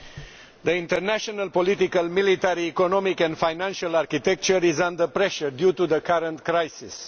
Mr President, the international, political, military, economic and financial architecture is under pressure due to the current crisis.